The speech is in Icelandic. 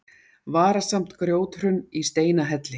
Varasamt grjóthrun í Steinahelli